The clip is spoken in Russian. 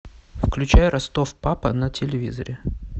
включай ростов папа на телевизоре